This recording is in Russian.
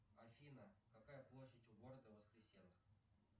афина какая площадь у города воскресенск